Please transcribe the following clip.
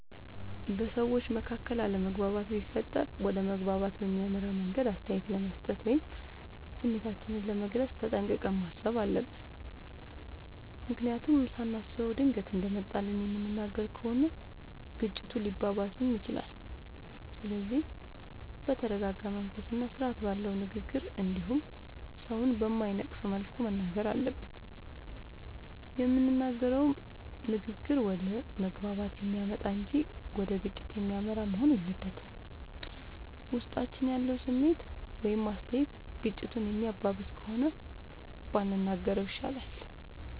በሠዎች መካከል አለመግባባት ቢፈጠር ወደ መግባባት በሚያመራ መንገድ አስተያየት ለመስጠት ወይም ስሜታችንን ለመግለፅ ተጠንቅቀን ማሠብ አለብ። ምክንያቱም ሳናስበው ድንገት እንደመጣልን የምንናገር ከሆነ ግጭቱ ሊባባስም ይችላል። ስለዚህ በተረረጋ መንፈስና ስርአት ባለው ንግግር እንዲሁም ሠውን በማይነቅፍ መልኩ መናገር አለብን። የምንናገረውም ንግግር ወደ መግባባት የሚያመጣ እንጂ ወደ ግጭት የሚመራ መሆን የለበትም። ውስጣችን ያለው ስሜት ወይም አስተያየት ግጭቱን የሚያባብስ ከሆነ ባንናገረው ይሻላል።